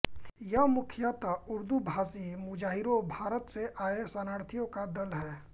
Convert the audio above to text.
यह मुखयतः उर्दूभाषी मुजाहिरों भारत से आये शरणार्थियों का दल है